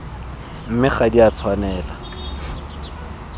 mme ga di a tshwanela